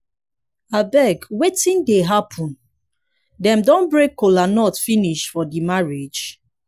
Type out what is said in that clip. abeg wetin dey happen? dem don break kola nut finish for finish for the marriage?